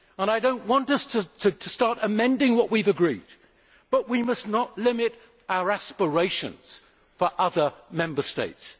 I do not want us to start amending what we have agreed, but we must not limit our aspirations for other Member States.